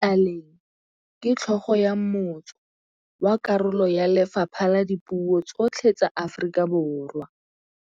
Tlaleng ke tlhôgô ya motsô wa karolo ya lefapha la dipuô tsotlhe tsa Aforika Borwa.